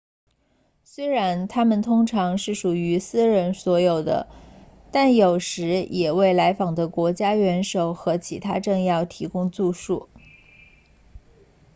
虽然它们通常是属于私人所有的但有时也为来访的国家元首和其他政要提供住宿